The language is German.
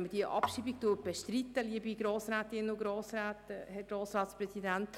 Wenn man die Abschreibung bestreiten will, liebe Grossrätinnen, Grossräte, Herr Grossratspräsident,